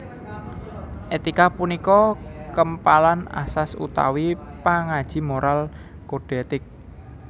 Etika punika kempalan asas utawi pangaji moral kodhe ètik